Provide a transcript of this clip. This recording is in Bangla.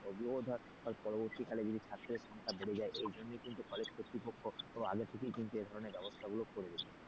ওগুলো ধর পরবর্তীকালে যদি ছাত্র সংখ্যা বেড়ে যায় এই জন্যই কিন্তু কলেজ কর্তৃপক্ষ আগে থেকেই কিন্তু এ ধরনের ব্যবস্থাগুলো করে রেখেছে।